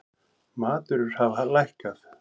Matvörur hafa lækkað